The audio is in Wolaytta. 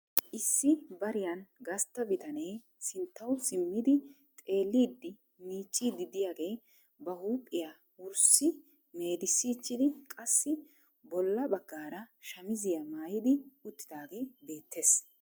Issi bariyaan gastta bitanee sinttaw simmidi xeellid miiccidi de'iyaagee ba huuphiyaa wurssi meeddissichidi qassi bolla baggaara shammiziyaa maayyidi uttidaage beettes.